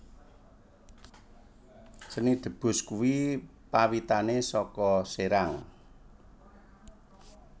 Seni Debus kui pawitane soko Serang